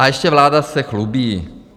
A ještě vláda se chlubí.